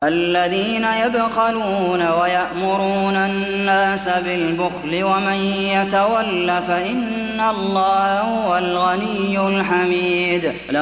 الَّذِينَ يَبْخَلُونَ وَيَأْمُرُونَ النَّاسَ بِالْبُخْلِ ۗ وَمَن يَتَوَلَّ فَإِنَّ اللَّهَ هُوَ الْغَنِيُّ الْحَمِيدُ